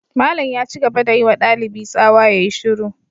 Malam ya ci gaba da yi wa dalibi tsawa ya yi shiru.